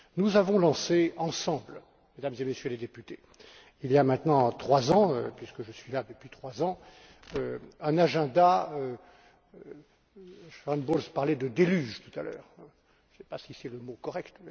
Nous avons lancé ensemble, Mesdames et Messieurs les députés, il y a maintenant trois ans puisque je suis là depuis trois ans, un agenda Sharon Bowles parlait de déluge tout à l'heure, je ne sais pas si c'est le mot correct